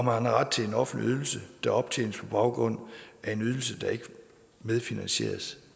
har ret til en offentlig ydelse der optjenes på baggrund af en ydelse der ikke medfinansieres